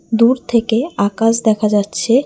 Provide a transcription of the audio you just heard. দূর থেকে আকাশ দেখা যাচ্ছে।